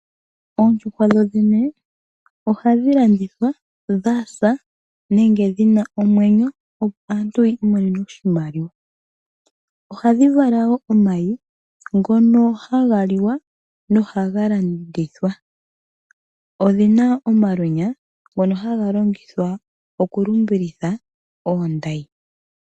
Oondjuhwa dho dhene ohadhi landithwa dha sa, nenge dhina omwenyo opo aantu yi imonene oshimaliwa. Ohadhi vala wo omayi, ngono haga li wa, nohaga landithwa. Odhina omalwenya, ngono haga longithwa okulumbilitha oondayi.